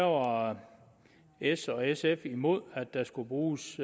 var s og sf imod at der skulle bruges